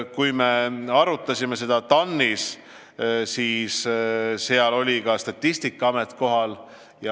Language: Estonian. Kui me arutasime seda TAN-is, siis seal oli ka Statistikaameti esindaja kohal.